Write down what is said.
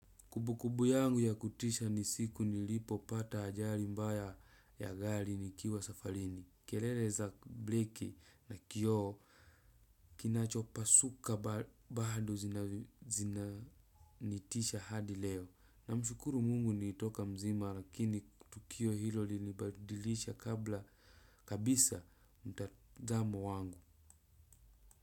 Kubukubu yangu ya kutisha ni siku nilipo pata ajali mbaya ya gali nikiwa safarini. Kelele za bleki na kioo kinachopa suka bado zina nitisha hadi leo. Na mshukuru mungu nilitoka mzima rakini tukio hilo linibadilisha kabla kabisa mtazamo wangu.